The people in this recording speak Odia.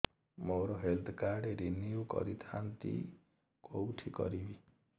ମୋର ହେଲ୍ଥ କାର୍ଡ ରିନିଓ କରିଥାନ୍ତି କୋଉଠି କରିବି